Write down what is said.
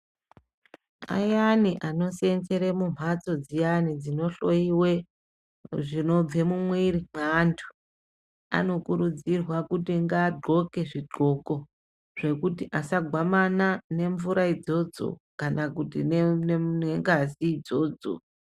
Ayani anoseenzere mumphatso dziyani dzinohloyiwe zvinobve mumwiri mweantu, anokurudzirwe kuti ngaagxoke zvigxoko zvekuti asagwamana nemvura idzodzo kana kuti nengazi idzodzo.